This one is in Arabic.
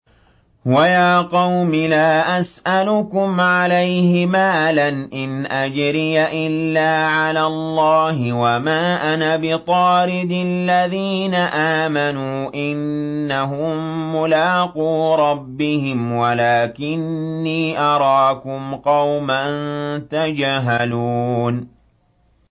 وَيَا قَوْمِ لَا أَسْأَلُكُمْ عَلَيْهِ مَالًا ۖ إِنْ أَجْرِيَ إِلَّا عَلَى اللَّهِ ۚ وَمَا أَنَا بِطَارِدِ الَّذِينَ آمَنُوا ۚ إِنَّهُم مُّلَاقُو رَبِّهِمْ وَلَٰكِنِّي أَرَاكُمْ قَوْمًا تَجْهَلُونَ